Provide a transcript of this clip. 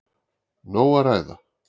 Nóg að ræða!